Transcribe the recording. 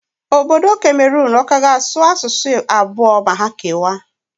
Obodo Kameron ọ ka ga-asụ asụsụ abụọ ma ha kewaa?